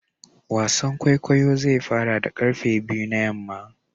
wasan kwaikwayo zai fara da karfe biyu na yamma